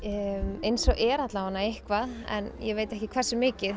eins og er allavega eitthvað en ég veit ekki hversu mikið